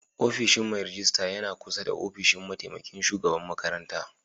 Ofishin Mai ragista yana ƙusa da ofishin mataimaƙin shugaɓan maƙaranta.